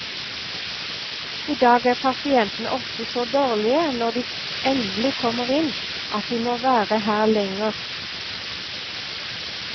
I dag er pasientene ofte så dårlige når de endelig kommer inn, at de må være her lenger.